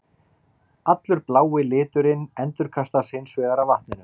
Allur blái liturinn endurkastast hins vegar af vatninu.